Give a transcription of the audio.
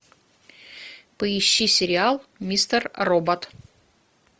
поищи сериал мистер робот